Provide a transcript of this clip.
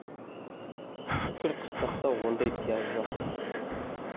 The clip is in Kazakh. бүкіл қыстақта ондай пияз жоқ